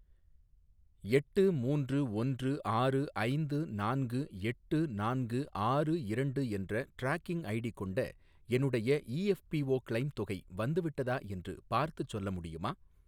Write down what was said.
எட்டு மூன்று ஒன்று ஆறு ஐந்து நான்கு எட்டு நான்கு ஆறு இரண்டு என்ற ட்ராக்கிங் ஐடி கொண்ட என்னுடைய இஎஃப்பிஓ கிளெய்ம் தொகை வந்துவிட்டதா என்று பார்த்துச் சொல்ல முடியுமா?